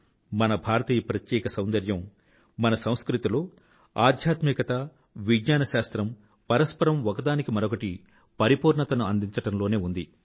మన భారతీయ ప్రత్యేక సౌందర్యం మన సంస్కృతిలో ఆధ్యాత్మికత మరియు విజ్ఞాన శాస్త్రం పరస్పరం ఒకదానికి మరొకటి పరిపూర్ణతను అందించడం లోనే ఉంది